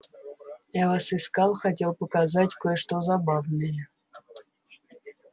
я вас искал хотел показать кое-что забавное